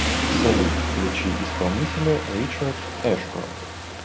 салют включи исполнителя ричард эшкрофт